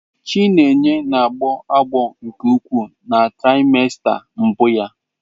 Chinenye na-agbo agbo nke ukwuu na traimesta mbụ ya.